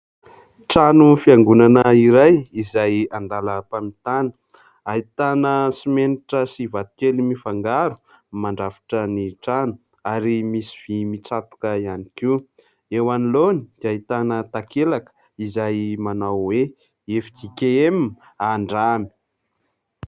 Trano fiangonana iray izay an-dalam-pamitana. Ahitana simenitra sy vato kely mifangaro mandrafitra ny trano ary misy vy mitsatoka ihany koa. Eo anoloany dia ahitana takelaka izay manao hoe FJKM Andramy.